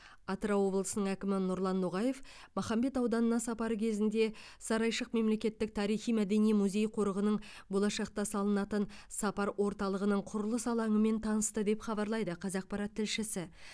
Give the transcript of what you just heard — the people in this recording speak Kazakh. атырау облысының әкімі нұрлан ноғаев махамбет ауданына сапары кезінде сарайшық мемлекеттік тарихи мәдени музей қорығының болашақта салынатын сапар орталығының құрылыс алаңымен танысты деп хабарлайды қазақпарат тілшісі